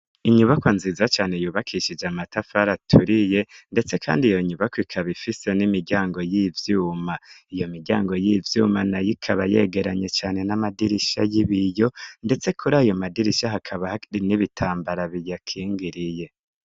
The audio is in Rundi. Inyubakwa nziza cane yubakishije amatafari aturiye, ndetse kandi iyo nyubakwa ikaba ifise n'imiryango y'ivyuma, iyo miryango y'ivyuma nayo ikaba yegeranye cane n'amadirisha y'ibiyo, ndetse kuri ayo madirisha hakaba n'ibitambara biyakingiriye.